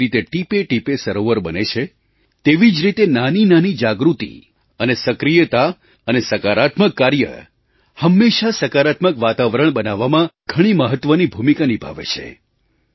જે રીતે ટીપેટીપે સરોવર બને છે તેવી જ રીતે નાનીનાની જાગૃતિ અને સક્રિયતા અને સકારાત્મક કાર્ય હંમેશાં સકારાત્મક વાતાવરણ બનાવવામાં ઘણી મહત્ત્વની ભૂમિકા નિભાવે છે